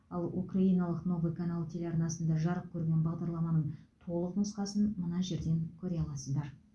ал украиналық новый канал телеарнасында жарық көрген бағдарламаның толық нұсқасын мына жерден көре аласыздар